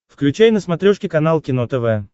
включай на смотрешке канал кино тв